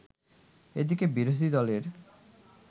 এদিকে বিরোধী দলের